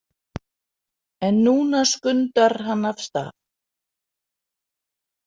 En núna skundar hann af stað.